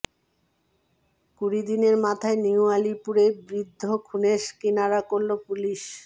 কুড়িদিনের মাথায় নিউ আলিপুরে বৃদ্ধ খুনের কিনারা করল পুলিস